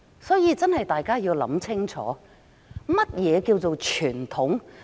所以，大家要想清楚，何謂傳統？